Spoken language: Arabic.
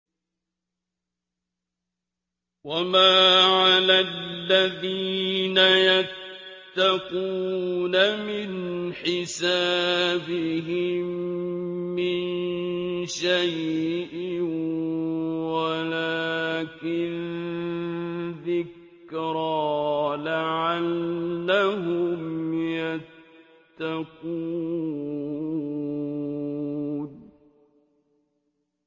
وَمَا عَلَى الَّذِينَ يَتَّقُونَ مِنْ حِسَابِهِم مِّن شَيْءٍ وَلَٰكِن ذِكْرَىٰ لَعَلَّهُمْ يَتَّقُونَ